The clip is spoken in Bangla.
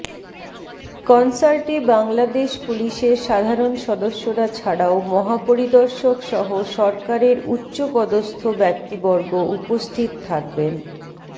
কনসার্টে বাংলাদেশ পুলিশের সাধারণ সদস্যরা ছাড়াও মহাপরিদর্শকসহ সরকারের উচ্চপদস্থ ব্যক্তিবর্গ উপস্থিত থাকবেন